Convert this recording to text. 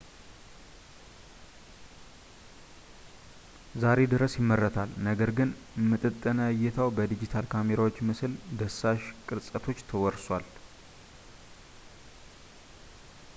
ዛሬ ድረስ ይመረታል ነገር ግን ምጥጥነ ዕይታው በዲጂታል ካሜራዎች ምስል ዳሳሽ ቅርጸቶች ተወርሷል